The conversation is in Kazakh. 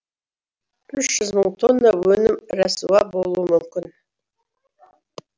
үш жүз мың тонна өнім рәсуа болуы мүмкін